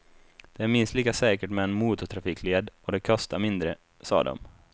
Det är minst lika säkert med en motortrafikled och det kostar mindre, sa de.